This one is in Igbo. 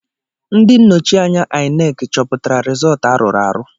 Ndị nnọchi anya inec choputara rịzọlt arụrụ arụ.